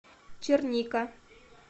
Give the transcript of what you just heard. черника